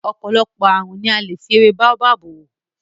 Ọ̀pọ̀lọpọ̀ ààrùn ni a lè fi ewé Baobab wò.